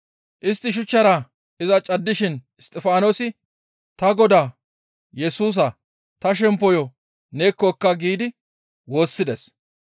Istti shuchchara iza caddishin Isttifaanosi, «Ta Godaa Yesusaa! Ta shemppoyo neekko ekka» giidi woossides.